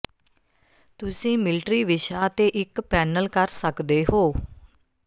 ਤੁਸੀਂ ਮਿਲਟਰੀ ਵਿਸ਼ਾ ਤੇ ਇੱਕ ਪੈਨਲ ਕਰ ਸਕਦੇ ਹੋ